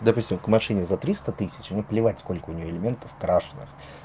допустим к машине за триста тысяч мне плевать сколько у неё элементов крашеных